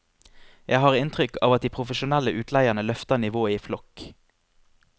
Jeg har inntrykk av at de profesjonelle utleierne løfter nivået i flokk.